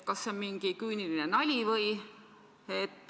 " Kas see on mingi küüniline nali?